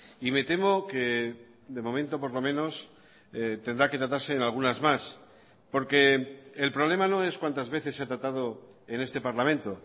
y me temo que de momento por lo menos tendrá que tratarse en algunas más porque el problema no es cuántas veces se ha tratado en este parlamento